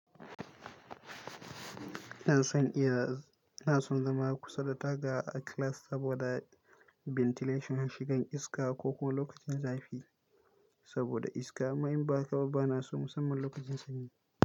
Ina son iya, ina son zama kusa da taga a class saboda ventilation, na shigan iska ko kuma lokacin zafi saboda iska. Amma in ba haka ba, ba na so musamman lokacin sanyi.